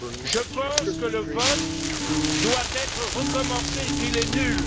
Je pense que le vote doit être recommencé et qu'il est nul.